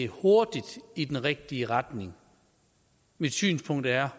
hurtigt i den rigtige retning mit synspunkt er